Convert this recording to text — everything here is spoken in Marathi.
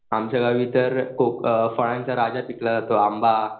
आमच्या गावी तर फळांचा राजा पिकला जातो आंबा